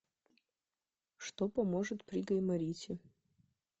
что поможет при гайморите